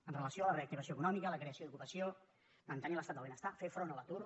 amb relació a la reactivació econòmica a la creació d’ocupació mantenir l’estat del benestar fer front a l’atur